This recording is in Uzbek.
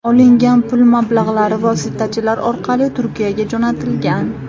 Olingan pul mablag‘lari vositachilar orqali Turkiyaga jo‘natilgan.